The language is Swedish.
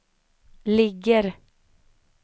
ligger